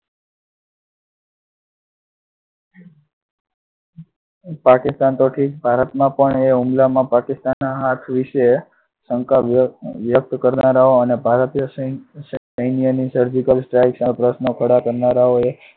પાકિસ્તાન તો ઠીક ભારતમાં પણ એ હુમલામા પાકિસ્તાનના હાથ વિશે શંકા વ્યક્ત કરનારા અને ભારતીય સૈન્ય ની surgical strike પર પ્રશ્નો ખડા કરનારાઓએ